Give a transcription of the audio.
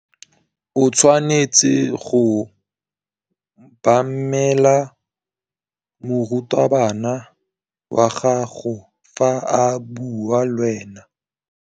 O tshwanetse go obamela morutabana wa gago fa a bua le wena.